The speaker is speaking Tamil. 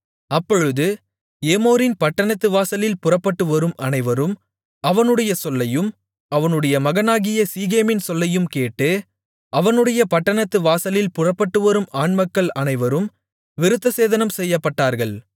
அப்பொழுது ஏமோரின் பட்டணத்து வாசலில் புறப்பட்டுவரும் அனைவரும் அவனுடைய சொல்லையும் அவனுடைய மகனாகிய சீகேமின் சொல்லையும் கேட்டு அவனுடைய பட்டணத்து வாசலில் புறப்பட்டுவரும் ஆண்மக்கள் அனைவரும் விருத்தசேதனம் செய்யப்பட்டார்கள்